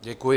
Děkuji.